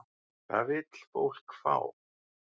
Hvað vill fólk fá?